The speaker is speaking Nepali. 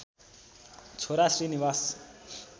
छोरा श्री निवास